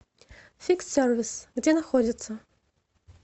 фикс сервис где находится